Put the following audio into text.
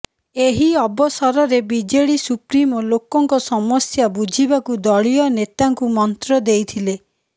ଏହି ଅବସରରେ ବିଜେଡି ସୁପ୍ରିମୋ ଲୋକଙ୍କ ସମସ୍ୟା ବୁଝିବାକୁ ଦଳୀୟ ନେତାଙ୍କୁ ମନ୍ତ୍ର ଦେଇଥିଲେ